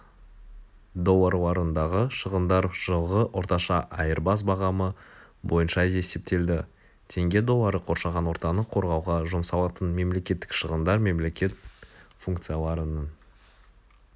долларларындағы шығындар жылғы орташа айырбас бағамы бойынша есептелді тенге доллары қоршаған ортаны қорғауға жұмсалатын мемлекеттік шығындар мемлекет функцияларының